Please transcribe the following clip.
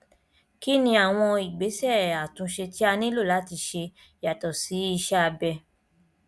kí ni àwọn ìgbésẹ àtúnṣe tí a nílò láti ṣe yàtọ sí iṣẹ abẹ